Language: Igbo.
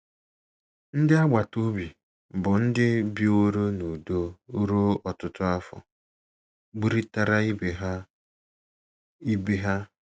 Ndị agbata obi, bụ́ ndị biworo n’udo ruo ọtụtụ afọ, gburịtara ibe ha. ibe ha.